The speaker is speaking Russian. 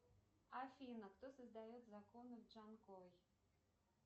афина кто создает законы в джанкой